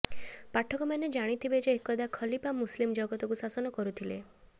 ପାଠକମାନେ ଜାଣିଥିବେ ଯେ ଏକଦା ଖଲିପା ମୁସଲିମ୍ ଜଗତକୁ ଶାସନ କରୁଥିଲେ